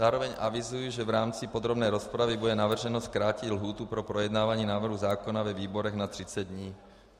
Zároveň avizuji, že v rámci podrobné rozpravy bude navrženo zkrátit lhůtu pro projednávání návrhu zákona ve výborech na 30 dní.